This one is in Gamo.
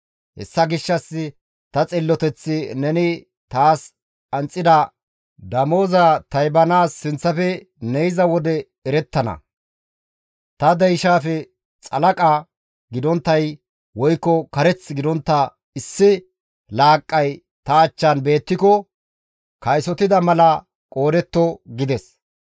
Hessa gishshas ta xilloteththi neni taas qanxxida damozaa taybanaas sinththafe ne yiza wode erettana; ta deyshaafe xalaqa gidonttay woykko kareth gidontta issi laaqqay ta achchan beettiko kaysotida mala qoodetto» gides.